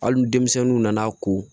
Hali denmisɛnninw nana ko